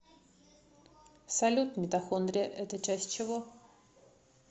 салют митохондрия это часть чего